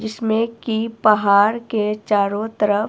जिसमें की पहाड़ के चारों तरफ--